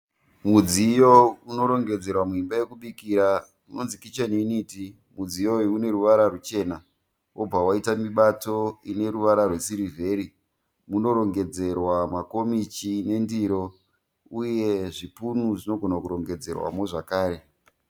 Mudziyo unorongedzerwa muimba yekubikira unonzi kicheni yuniti. Mudziyo uyu uneruvara rwuchena wobva waita mibato ineruvara rwesirivheri. Munorongedzerwa makomichi nendiro uye zvipunu zvinogona kurongedzerwamo zvekare